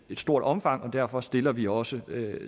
stort omfang og derfor stiller vi også